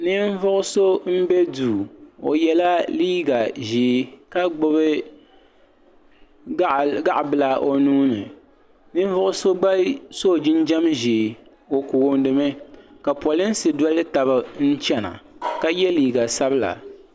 ninvuɣ' so m-be duu o yela liiga ʒee ka gbubi gaɣ' bila o nuu ni ninvuɣ' so gba sɔ jinjam ʒee o koondi mi ka polinsi doli taba n-chana ka ye liiga sabila.